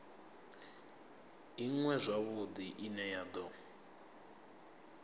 iṅwe zwavhudi ine ya do